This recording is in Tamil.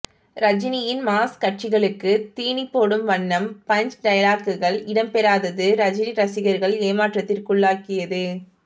ரஜினியின் மாஸ் கட்சிகளுக்கு தீனிபோடும் வண்ணம் பஞ்ச் டயலாக்குகள் இடம்பெறாதது ரஜினி ரசிகர்கள் ஏமாற்றத்திற்குள்ளாக்கியது